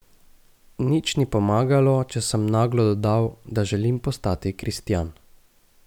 Nič ni pomagalo, če sem naglo dodal, da želim postati kristjan.